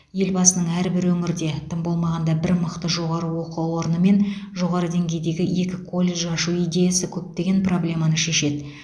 елбасының әрбір өңірде тым болмағанда бір мықты жоғары оқу орны мен жоғары деңгейдегі екі колледж ашу идеясы көптеген проблеманы шешеді